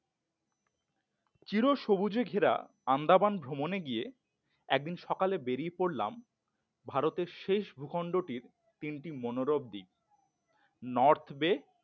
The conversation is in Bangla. চির সবুজে ঘেরা আন্দামান ভ্রমণে গিয়ে একদিন সকালে বেরিয়ে পড়লাম ভারতের শেষ ভূখণ্ডটির তিনটি মনোরম দ্বীপ নর্থ বে